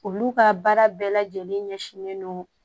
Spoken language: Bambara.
Olu ka baara bɛɛ lajɛlen ɲɛsinlen don